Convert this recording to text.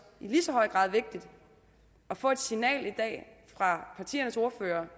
i lige så høj grad vigtigt at få et signal fra partiernes ordførere